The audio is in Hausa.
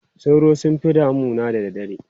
Sauro sun fi damu da dare.